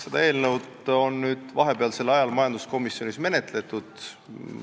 Seda eelnõu on nüüd vahepealsel ajal majanduskomisjonis menetletud.